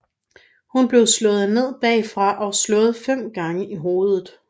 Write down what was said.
Hun blev slået ned bagfra og slået fem gange i hovedet